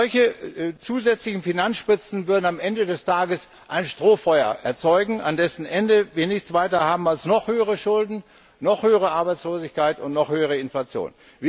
Solche zusätzlichen Finanzspritzen würden am Ende des Tages ein Strohfeuer erzeugen, an dessen Ende wir nichts weiter haben als noch höhere Schulden, noch höhere Arbeitslosigkeit und noch höhere Inflation.